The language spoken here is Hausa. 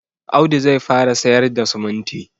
Audu zai fara sayar da siminti